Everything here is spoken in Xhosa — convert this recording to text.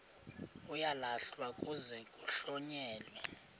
uyalahlwa kuze kuhlonyelwe